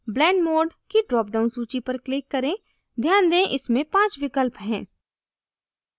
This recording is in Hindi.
blend mode की drop down सूची पर click करें ध्यान दें इसमें 5 विकल्प हैं